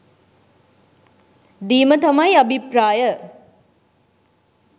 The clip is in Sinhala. දීම තමයි අභිප්‍රාය